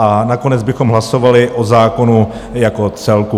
A nakonec bychom hlasovali o zákonu jako celku.